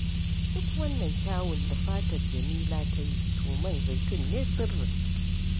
Duk wannan kyawun da fatar Jamila ta yi, to man zaitun ne sirrin